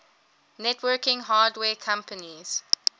networking hardware companies